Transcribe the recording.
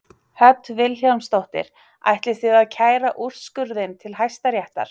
Hödd Vilhjálmsdóttir: Ætlið þið að kæra úrskurðinn til Hæstaréttar?